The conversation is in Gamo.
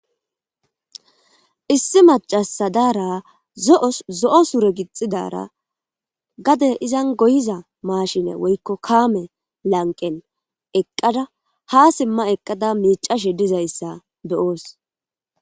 Issi macasa dara zos zo7o sure gixidara gade izan goyiza maashine woykko kaame lanqen eqqada ha simma eqqada miicashe dizayssa be7os.